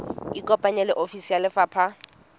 ikopanye le ofisi ya lefapha